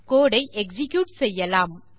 இந்த கோடு ஐ எக்ஸிக்யூட் செய்யலாம்